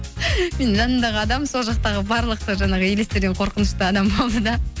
менің жанымдағы адам сол жақтағы барлық жаңағы елестерден қорқынышты адам болды да